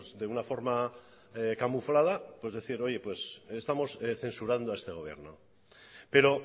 de una forma camuflada decir estamos censurando a este gobierno pero